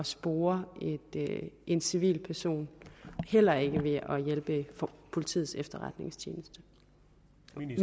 spore en civil person heller ikke ved at hjælpe politiets efterretningstjeneste